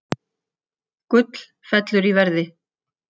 Gull fellur í verði